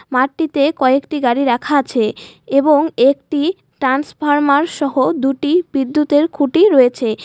মাটিতে কয়েকটি গাড়ি রাখা আছে এবং একটি টান্সফরমার সহ দুটি বিদ্যুতের খুঁটি রয়েছে।